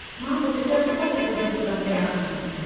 मां पुट जा सभु ज़िद पूरा कया आहिनि।